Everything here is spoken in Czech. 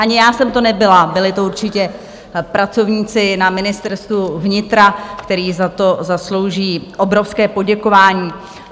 Ani já jsem to nebyla, byli to určitě pracovníci na Ministerstvu vnitra, kteří si za zaslouží obrovské poděkování.